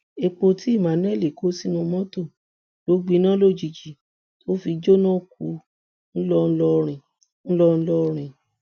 epo tí emmanuel kó sínú mọtò ló gbiná lójijì tó fi jóná kù ńlọrọrin ńlọrọrin